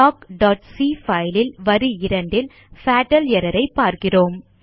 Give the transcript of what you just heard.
talkசி file ல் வரி 2 ல் பட்டால் எர்ரர் ஐ பார்க்கிறோம்